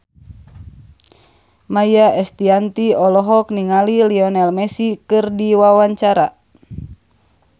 Maia Estianty olohok ningali Lionel Messi keur diwawancara